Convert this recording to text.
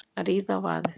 Að ríða á vaðið